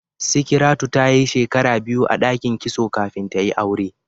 sikiratu tayi shekara biyu a dakin kitso kafin tayi aure